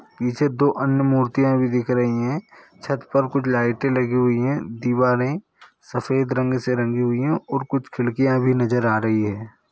पीछे दो अन्य मूर्तियाँ भी दिख रही है छत पर कुछ लाइटे लगी हुई है दीवारे सफेद रंग से रंगी हुई है और कुछ खिड़कियाँ भी नजर आ रही है।